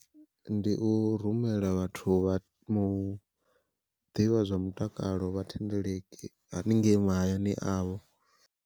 Ndi u rumela vhathu vha mu ḓivha zwa mutakalo vha thendeleki haningei mahayani avho.